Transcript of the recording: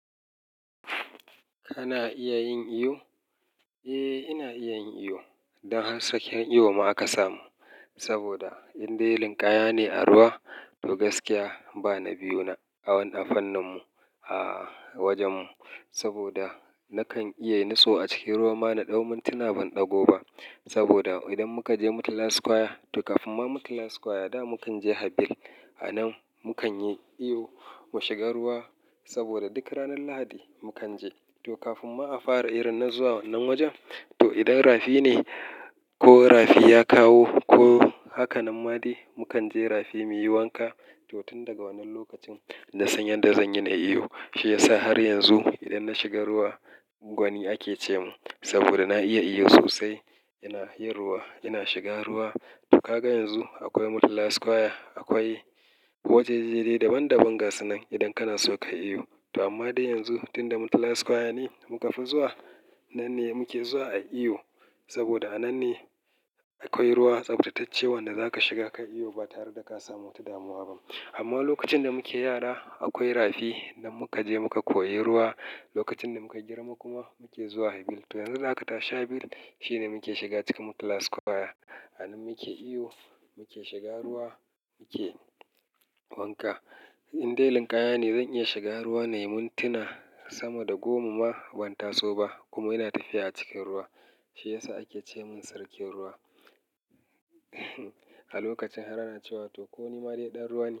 Ana iya yin iyo? Eh, ina iya yin iyo. Dan har sarkin iyo ma aka samun. Saboda in dai linkaya ne a ruwa, to gaskiya bana biyu na a wani fannin mu a wajen mu. Saboda nakan iya yin niso a cikin ruwa ma na ɗau mintina ban ɗago ba. Saboda idan muka je murtala square to kafin ma murtala square da mukan je habil a nan mu kan yi iyo mu shiga ruwa. Saboda duk ranar Lahadi mu kan je to kafin ma a fara irin na zuwa wannan wajen. To idan rafi ne ko rafi ya kawo ko hakanen ma dai mu kan je rafi muyi wanka. To tun daga wannan lokacin na san yadda zanyi na yi iyo. Shi ya sa har yanzu idan na shiga ruwa gwani ake ce min. Saboda na iya iyo sosai. Ina yin ruwa, ina shiga ruwa. To ka ga yanzu akwai murtala square, akwai wajaje dai daban daban gasunan idan kana so ka yi iyo. To amma dai yanzu tunda murtala square ne muka fi zuwa nan ne muke zuwa a yi iyo. Saboda a nan ne akwai ruwa tsaftatacce wanda zaka shiga ka yi iyo ba tare da ka samu wata damuwa ba. Amma lokacin da muke yara akwai rafi nan muka je muka koyi ruwa. Lokacin da muka girma kuma muke zuwa habil. To yanzu da aka tashi habil shi ne muke shiga cikin murtala square. A nan muke iyo, muke shiga ruwa, muke wanka. In de linkaya ne zan iya shiga ruwa na yi mintuna sama da goma ma ban taso ba kuma ina tafiya a cikin ruwa. Shi ya sa ake ce min sarkin ruwa a lokacin har ana cewa to ko ni ma dai ɗan ruwa ne.